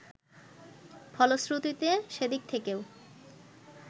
ফলশ্রুতিতে সেদিক থেকেও